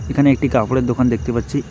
এখানে একটি কাপড়ের দোকান দেখতে পাচ্ছি।